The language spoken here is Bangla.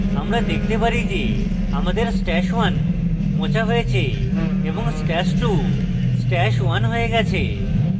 আমরা দেখতে পারি আমাদের stash @{1} মোছা হয়েছে এবং stash @{2} stash @{1} we গেছে